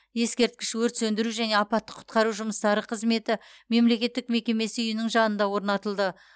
ескерткіш өрт сөндіру және апаттық құтқару жұмыстары қызметі мемлекеттік мекемесі үйінің жанында орнатылды